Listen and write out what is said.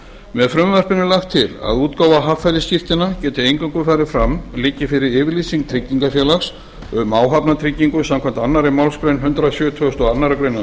með frumvarpinu er lagt til að útgáfa haffærisskírteina geti eingöngu farið fram liggi fyrir yfirlýsing tryggingafélags um áhafnartryggingu samkvæmt annarri málsgrein hundrað sjötugasta og aðra grein